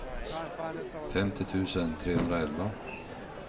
femtio tusen trehundraelva